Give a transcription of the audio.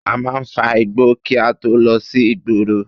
A máa fa igbó kí a tó lọ sí ìgboro